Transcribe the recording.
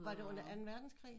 Var det under anden verdenskrig?